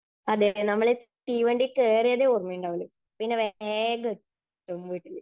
അതേ, നമ്മൾ തീവണ്ടിയിൽ കേറിയതേ ഓർമയുണ്ടാവുകയുള്ളൂ. പിന്നെ വേഗം എത്തും വീട്ടിൽ.